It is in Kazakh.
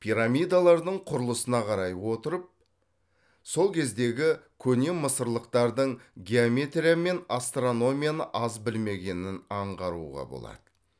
пирамидалардың құрылысына қарай отырып сол кездегі көне мысырлықтардың геометрия мен астрономияны аз білмегенін аңғаруға болады